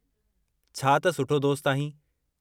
छा त सुठो दोस्त आहीं!